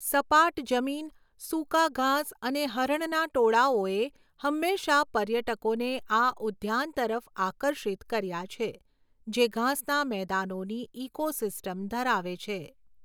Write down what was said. સપાટ જમીન, સૂકા ઘાસ અને હરણના ટોળાઓએ હંમેશાં પર્યટકોને આ ઉદ્યાન તરફ આકર્ષિત કર્યા છે, જે ઘાસના મેદાનોની ઇકોસિસ્ટમ ધરાવે છે.